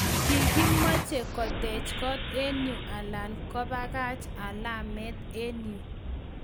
Kigimoche kotech kot en yu alan kobagach alamet en yu